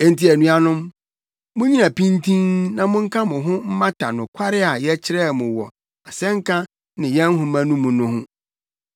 Enti anuanom, munnyina pintinn na monka mo ho mmata nokware a yɛkyerɛɛ mo wɔ asɛnka ne yɛn nhoma no mu no ho.